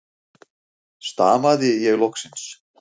stamaði ég loksins.